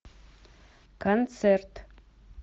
концерт